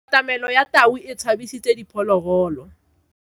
Katamelo ya tau e tshabisitse diphologolo.